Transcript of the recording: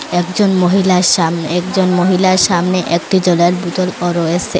একজন মহিলার সাম একজন মহিলার সামনে একটি জলের বোতল ও রয়েসে।